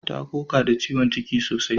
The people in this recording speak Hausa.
Ta koka da ciwon ciki sosai